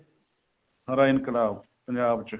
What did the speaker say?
ਹਰਾ ਇਨਕਲਾਬ ਪੰਜਾਬ ਚ